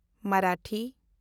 Marathi